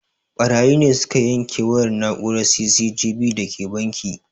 Ɓarayi ne suka yanke wayar na'urar C.C.T.V da ke banki